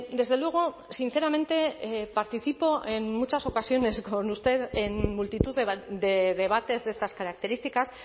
desde luego sinceramente participo en muchas ocasiones con usted en multitud de debates de estas características